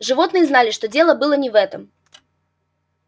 животные знали что дело было не в этом